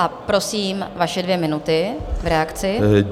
A prosím, vaše dvě minuty v reakci.